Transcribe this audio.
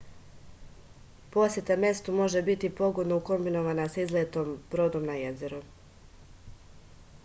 poseta mestu može biti pogodno ukombinovana sa izletom brodom na jezero